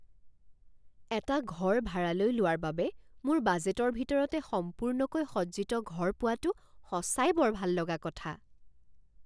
এটা ঘৰ ভাড়ালৈ লোৱাৰ বাবে মোৰ বাজেটৰ ভিতৰতে সম্পূৰ্ণকৈ সজ্জিত ঘৰ পোৱাটো সঁচাই বৰ ভাললগা কথা।